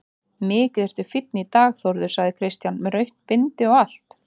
Mikið ertu fínn í dag Þórður, sagði Kristján, með rautt bindi og allt.